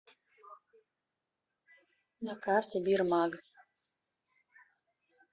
на карте бирмаг